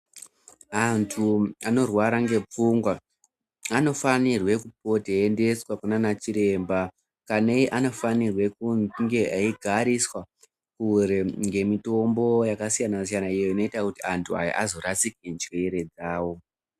Antu anorwara ngepfungwa anofanirwe kupota eiendeswa kunanachiremba. Kanei anofanirwa kunge eigariswa kure ngemitombo yakasiyana-siyana, iyo inoita kuti antu aya azvorasike njere dzavo.